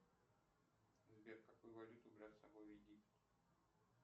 сбер какую валюту брать с собой в египет